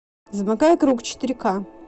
замыкая круг четыре ка